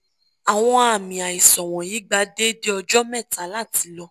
awọn aami aisan wọnyi gba deede ọjọ mẹta lati lọ